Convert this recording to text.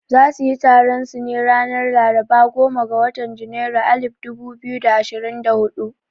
Za suyi taron su ne ranar laraba goma ga watan janairu alif dubu biyu da ashirin da hudu